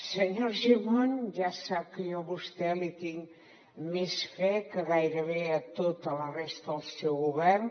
senyor argimon ja sap que jo a vostè li tinc més fe que gairebé a tota la resta del seu govern